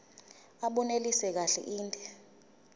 abunelisi kahle inde